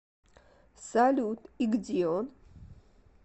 салют и где он